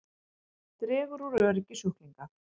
Dregur úr öryggi sjúklinga